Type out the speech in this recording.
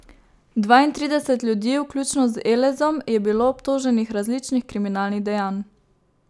Dvaintrideset ljudi, vključno z Elezom, je bilo obtoženih različnih kriminalnih dejanj.